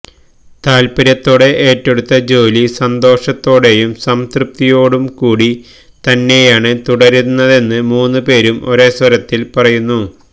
താത്പര്യത്തോടെ ഏറ്റെടുത്ത ജോലി സന്തോഷത്തോടെയും സംതൃപ്തിയോടുംകൂടി തന്നെയാണ് തുടരുന്നതെന്ന് മൂന്നുപേരും ഒരേ സ്വരത്തിൽ പറയുന്നു